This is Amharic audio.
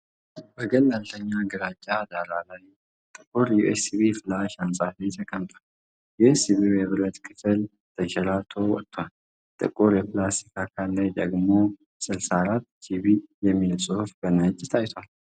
በገለልተኛ ግራጫ ዳራ ላይ ጥቁር ዩኤስቢ ፍላሽ አንጻፊ ተቀምጧል። የዩኤስቢው የብረት ክፍል ተንሸራቶ ወጥቷል፤ ጥቁሩ የፕላስቲክ አካሉ ላይ ደግሞ "64 ጂቢ" የሚል ጽሑፍ በነጭ ታይቷል።